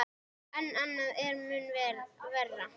En annað er mun verra.